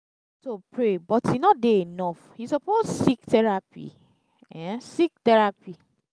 to pray but e no dey enough you suppose seek therapy. um seek therapy.